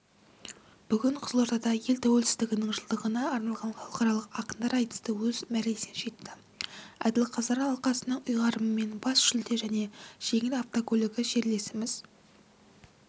бүгін қызылордада ел тәуелсіздігінің жылдығына арналған халықаралық ақындар айтысы өз мәресіне жетті әділқазылар алқасының ұйғарымымен бас жүлде және жеңіл автокөлігі жерлесіміз